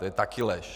To je taky lež.